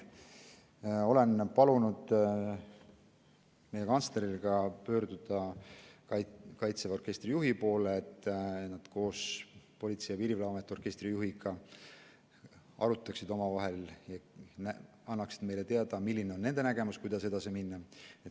Olen palunud meie kantsleril pöörduda Kaitseväe orkestri juhi poole, et nad koos Politsei- ja Piirivalveameti orkestri juhiga arutaksid omavahel ja annaksid meile teada, milline on nende nägemus, kuidas edasi minna.